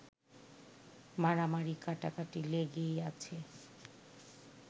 মারামারি-কাটাকাটি লেগেই আছে